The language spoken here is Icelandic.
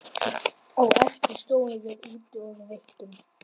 Á eftir stóðum við úti og reyktum.